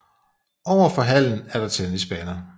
Over for hallen er der tennisbaner